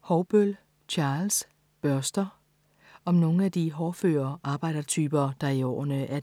Haugbøll, Charles: Børster Om nogle af de hårdføre arbejdertyper, der i årene